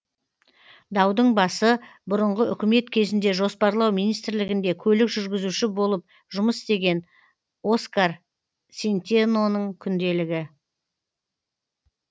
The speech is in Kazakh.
даудың басы бұрынғы үкімет кезінде жоспарлау министрлігінде көлік жүргізуші болып жұмыс істеген оскар сентеноның күнделігі